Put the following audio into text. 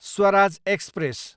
Swaraj express